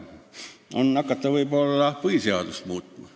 Kas tuleks hakata nüüd põhiseadust muutma?